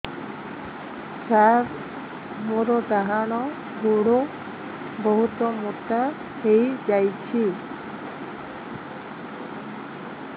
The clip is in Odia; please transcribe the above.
ସାର ମୋର ଡାହାଣ ଗୋଡୋ ବହୁତ ମୋଟା ହେଇଯାଇଛି